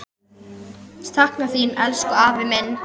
Sakna þín, elsku afi minn.